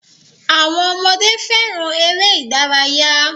Awọn ọmọdé féràn èrè ìdárayá.